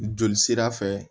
Joli sira fɛ